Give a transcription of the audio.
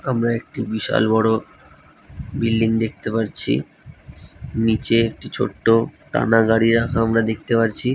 আমরা একটি বিশাল বড়ো বিল্ডিং দেখতে পাচ্ছিনিচে একটি ছোটো টানা গাড়ি রাখা আমরা দেখতে পাচ্ছি ।